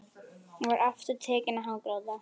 Hún var aftur tekin að hágráta.